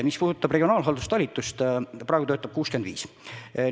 Mis puudutab regionaalhalduse osakonda, siis praegu töötab seal 65.